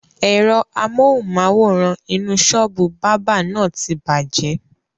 Ẹ̀rọ amohùn-máwórán inú sọ́ọ́bù báábà na ti bàjẹ́